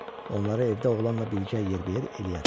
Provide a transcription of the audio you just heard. Onları evdə oğlanla birgə yerbəyer eləyərəm.